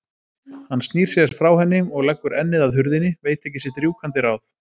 Hann snýr sér frá henni og leggur ennið að hurðinni, veit ekki sitt rjúkandi ráð.